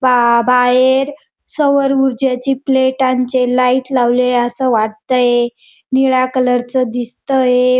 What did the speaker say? बा बाहेर सौरऊर्जा ची प्लेटांचे लाइट लावले अस वाटतय निळ्या कलरच दिसतय.